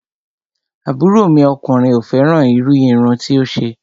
Àbúrò mi ọkùnrin ò fẹ́ràn irú irun tí ó ṣe